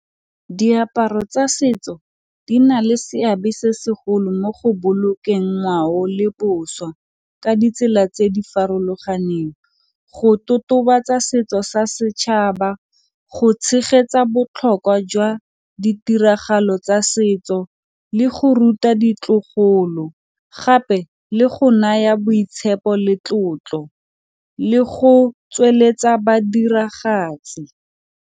Diaparo tsa setso di na le seabe se segolo mo go bolokeng ngwao le boswa ka ditsela tse di farologaneng go totobetsa setso sa setšhaba, go tshegetsa botlhokwa jwa ditiragalo tsa setso, le go ruta ditlogolo gape le go naya boitshepo le tlotlo le go tsweletsa badiragatsi.